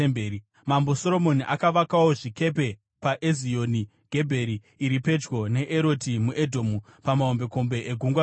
Mambo Soromoni akavakawo zvikepe paEzioni Gebheri, iri pedyo neEroti muEdhomu, pamahombekombe eGungwa Dzvuku.